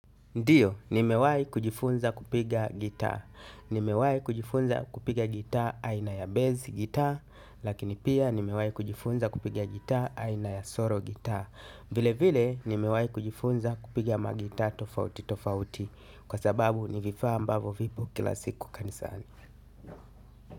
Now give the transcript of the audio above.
Ndiyo, nimewahi kujifunza kupiga gitaa. Nimewahi kujifunza kupiga gitaa aina ya bass gitaa, lakini pia nimewahi kujifunza kupiga gitaa aina ya solo gitaa. Vile vile, nimewahi kujifunza kupiga magitaa tofauti tofauti. Kwa sababu, ni vifaa ambavyo vipo kila siku kanisani.